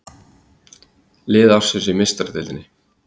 Lið ársins í Meistaradeildinni